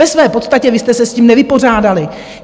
Ve své podstatě vy jste se s tím nevypořádali.